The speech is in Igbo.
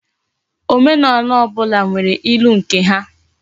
Omenaala obula nwere ilu nke ha